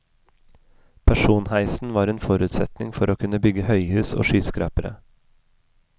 Personheisen var en forutsetning for å kunne bygge høyhus og skyskrapere.